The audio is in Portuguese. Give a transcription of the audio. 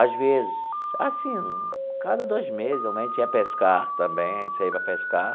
Às vezes, assim, cada dois meses geralmente ia pescar também, a gente saía para pescar.